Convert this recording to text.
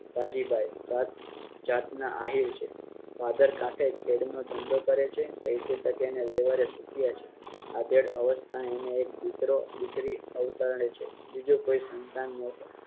રાજીબાઈ. જાતના આહીર છે ભાદર કાંઠે ખેદ નો ધંધો કરે છે અને પૈસે તકે વ્યવહારે સુખિયા છે. આધેડ અવસ્થા એ એને એક દીકરો દીકરી અવતારે છે બીજો કોઈ સંતાન નહોતો